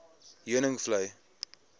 heuningvlei